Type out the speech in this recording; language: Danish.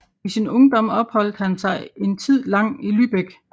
I sin ungdom opholdt han sig en tid lang i Lübeck